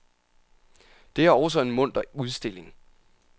Det er også en munter udstilling.